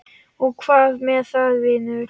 Og hvað með það, vinur?